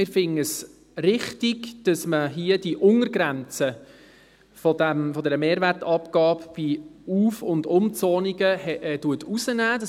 Wir finden es richtig, dass die Untergrenze der Mehrwertabgabe bei Auf- und Umzonungen herausgenommen wird.